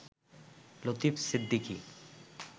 Latif Siddiqui